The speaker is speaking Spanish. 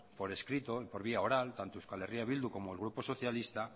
por escrito y por vía oral tanto euskal herria bildu como el grupo socialista